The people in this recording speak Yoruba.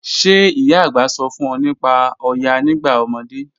Ṣẹ̀ ìyá ạ̀gbá sọ̀ fún ọ̀ nípá Òyá nígbà ọmọdé?